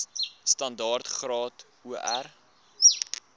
standaard graad or